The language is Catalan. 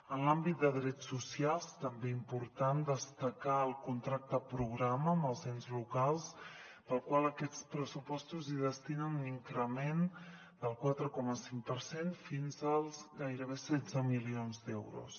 en l’àmbit de drets socials també important destacar el contracte programa amb els ens locals per al qual aquests pressupostos hi destinen un increment del quatre coma cinc per cent fins als gairebé setze milions d’euros